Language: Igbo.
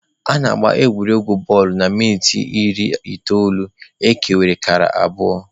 A na-agba egwuregwu futbọọlụ na minit iri itoolu, ekere kara abụọ.